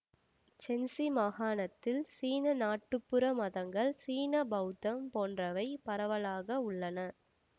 சென்சி மாகாணத்தில் சீன நாட்டுப்புற மதங்கள் சீன பௌத்தம் போன்றவை பரவலாக உள்ளன